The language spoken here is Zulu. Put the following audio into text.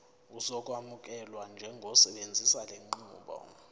uzokwamukelwa njengosebenzisa lenqubo